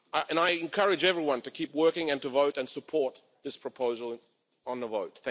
I encourage everyone to keep working and to vote and support this proposal in the vote.